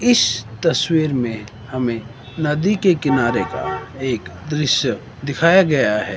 इस तस्वीर में हमें नदी के किनारे का एक दृश्य दिखाया गया है।